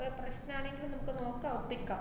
ഏർ പ്രശ്നാണെങ്കില് നമ്മക്ക് നോക്കാ ഒപ്പിക്കാ.